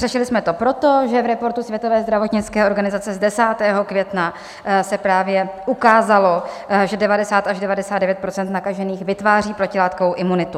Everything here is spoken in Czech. Řešili jsme to proto, že v reportu Světové zdravotnické organizace z 10. května se právě ukázalo, že 90 až 99 % nakažených vytváří protilátkovou imunitu.